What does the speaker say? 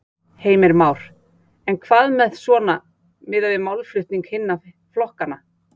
Heimir Már: En hvað með svona, miðað málflutning hinna flokkanna?